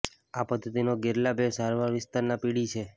આ પદ્ધતિનો ગેરલાભ એ સારવાર વિસ્તારના પીળી છે